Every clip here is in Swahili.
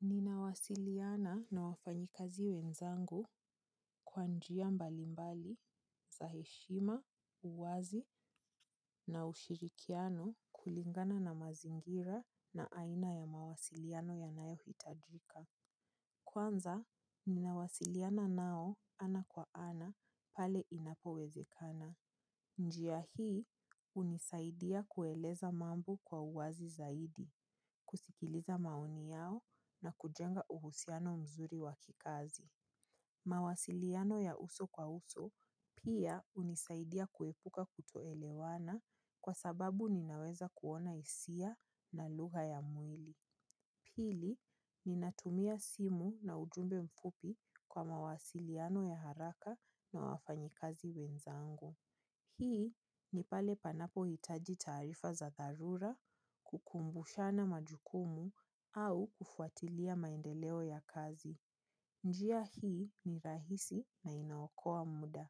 Ninawasiliana na wafanyikazi wenzangu kwa njia mbalimbali za heshima, uwazi na ushirikiano kulingana na mazingira na aina ya mawasiliano yanayohitajika. Kwanza, ninawasiliana nao ana kwa ana pale inapowezekana. Njia hii hunisaidia kueleza mambo kwa uwazi zaidi, kusikiliza maoni yao na kujenga uhusiano mzuri wa kikazi. Mawasiliano ya uso kwa uso pia hunisaidia kuepuka kutoelewana kwa sababu ninaweza kuona hisia na lugha ya mwili. Pili, ninatumia simu na ujumbe mfupi kwa mawasiliano ya haraka na wafanyikazi wenzangu. Hii ni pale panapohitaji taarifa za dharura, kukumbushana majukumu au kufuatilia maendeleo ya kazi. Njia hii ni rahisi na inaokoa muda.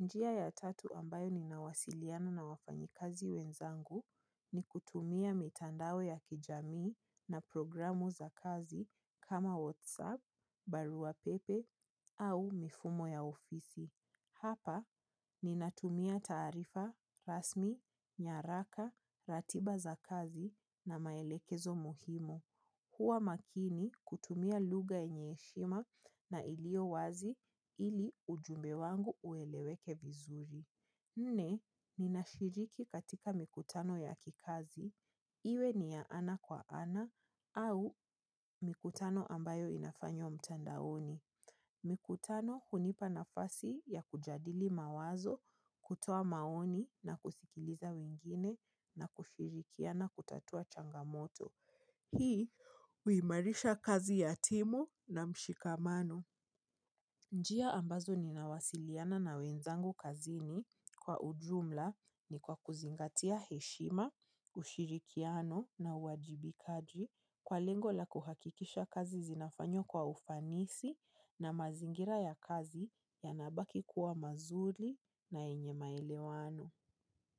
Njia ya tatu ambayo ninawasiliana na wafanyikazi wenzangu ni kutumia mitandao ya kijamii na programu za kazi kama WhatsApp, barua pepe au mifumo ya ofisi. Hapa, ninatumia taarifa, rasmi, nyaraka, ratiba za kazi na maelekezo muhimu. Huwa makini kutumia lugha yenye heshima na ilio wazi ili ujumbe wangu ueleweke vizuri. Nne, ninashiriki katika mikutano ya kikazi. Iwe ni ya ana kwa ana au mikutano ambayo inafanywa mtandaoni. Mikutano hunipa nafasi ya kujadili mawazo kutoa maoni na kusikiliza wengine na kushirikiana kutatua changamoto. Hii huimarisha kazi ya timu na mshikamano. Njia ambazo ninawasiliana na wenzangu kazini kwa ujumla ni kwa kuzingatia heshima, ushirikiano na uwajibikaji kwa lengo la kuhakikisha kazi zinafanywa kwa ufanisi na mazingira ya kazi yanabaki kuwa mazuri na yenye maelewano.